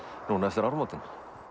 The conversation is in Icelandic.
núna eftir áramótin